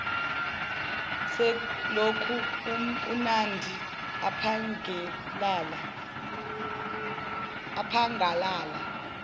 selokhu unandi aphangalala